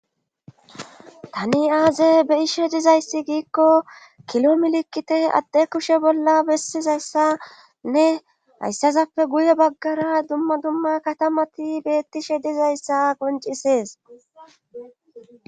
Tani aaze beyishe dizayssi giikko kilo milikkite adde kushe bolla bessizayssanne hayssazappe guye baggara dumma dumma katamati beettishe dizayssa qoncisees.